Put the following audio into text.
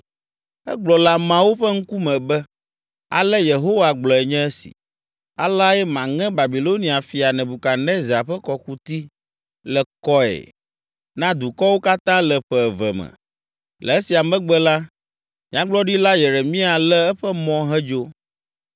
Egblɔ le ameawo ƒe ŋkume be, “Ale Yehowa gblɔe nye esi: ‘Aleae maŋe Babilonia fia Nebukadnezar ƒe kɔkuti le kɔe na dukɔwo katã le ƒe eve me.’ ” Le esia megbe la, Nyagblɔɖila Yeremia lé eƒe mɔ hedzo.